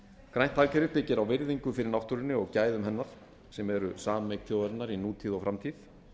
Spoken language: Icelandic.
grænt hagkerfi byggir á virðingu fyrir náttúrunni og gæðum hennar sem eru sameign þjóðarinnar í nútíð og framtíð